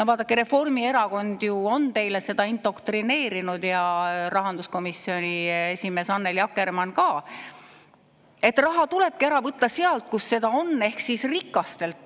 Vaadake, Reformierakond ju on teile seda indoktrineerinud ja rahanduskomisjoni esimees Annely Akkermann ka, et raha tulebki ära võtta sealt, kus seda on, ehk rikastelt.